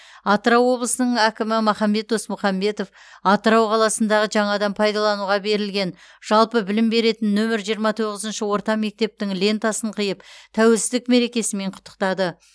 атырау облысының әкімі махамбет досмұхамбетов атырау қаласындағы жаңадан пайдалануға берілген жалпы білім беретін нөмір жиырма тоғызыншы орта мектептің лентасын қиып тәуелсіздік мерекесімен құттықтады